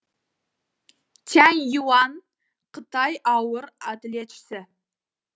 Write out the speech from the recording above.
тянь юань қытай ауыр атлетшісі